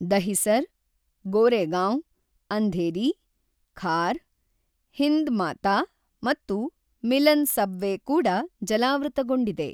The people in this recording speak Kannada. ದಹಿಸರ್, ಗೋರೆಗಾಂವ್, ಅಂಧೇರಿ, ಖಾರ್, ಹಿಂದ್ ಮಾತಾ ಮತ್ತು ಮಿಲನ್ ಸಬ್‌ವೇ ಕೂಡ ಜಲಾವೃತಗೊಂಡಿದೆ.